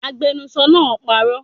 Agbenusọ náà parọ́